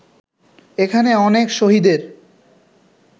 এখানে অনেক শহীদের